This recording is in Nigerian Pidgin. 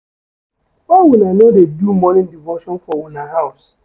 Why una no dey do morning devotion for una house?